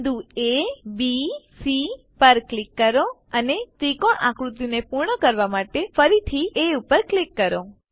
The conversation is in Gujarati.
બિંદુ abસી પર ક્લિક કરો અને ત્રિકોણ આકૃતિને પૂર્ણ કરવા માટે ફરીથી એ પર ક્લિક કરો